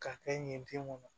K'a kɛ yen ten kɔni